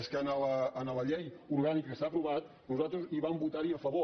és que a la llei orgànica que està aprovada nosaltres hi vam votar a favor